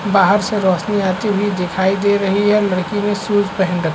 बाहर से रोशनी आती हुई दिखाई दे रही है। लड़की ने शूज पहन रख--